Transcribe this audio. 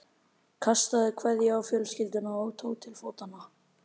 Kastaði kveðju á fjölskylduna og tók til fótanna.